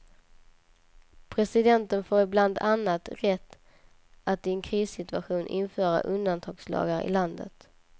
Presidenten får bland annat rätt att i en krissituation införa undantagslagar i landet.